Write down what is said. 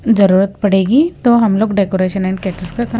जरूरत पड़ेगी तो हम लोग डेकोरेशन एंड कैटरिंग का काम--